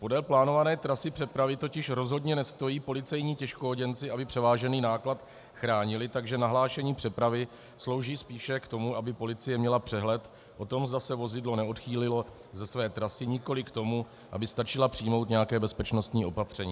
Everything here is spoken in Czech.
Podél plánované trasy přepravy totiž rozhodně nestojí policejní těžkooděnci, aby převážený náklad chránili, takže nahlášení přepravy slouží spíše k tomu, aby policie měla přehled o tom, zda se vozidlo neodchýlilo ze své trasy, nikoli k tomu, aby stačila přijmout nějaké bezpečnostní opatření.